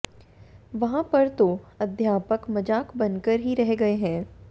वहां पर तो अध्यापक मजाक बनकर ही रह गए हैं